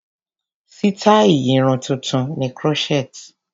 Sítáì Irun tuntun ni crochet.